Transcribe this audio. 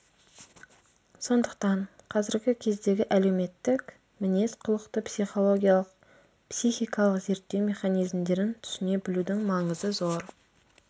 сондықтан қазіргі кездегі әлеуметтік мінез-құлықты психологиялық психикалық реттеу механизмдерін түсіне білудің маңызы зор